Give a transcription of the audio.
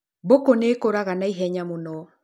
Mbũkũ nĩ ĩkũraga na i henya mũno.